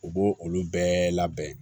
U b'o olu bɛɛ labɛn